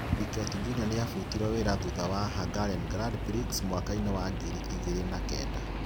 Piquet Jr. niabutirwo wĩra thutha wa Hungarian Grand Prix mwakainĩ wa ngiri igĩri na kenda